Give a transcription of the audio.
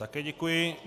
Také děkuji.